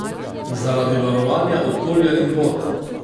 Zaradi varovanja okolja in vod?